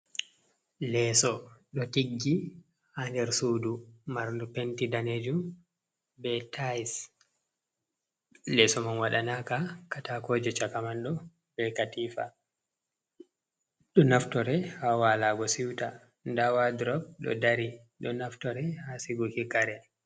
Leeso ɗo tiggi haa nder suudu marndu penti daneejum be tayis. Leeso man waɗanaaka katakooje, caka man ɗo be katiifa. Ɗo naftore haa waalago siwta, ndaa wodurop ɗo dari ɗo naftore haa siguki kare.